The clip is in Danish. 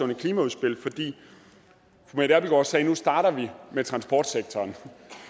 klimaudspil fru mette abildgaard sagde at nu starter vi med transportsektoren